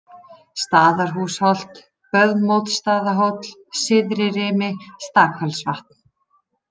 Staðarhúsholt, Böðmódsstaðahóll, Syðririmi, Stakfellsvatn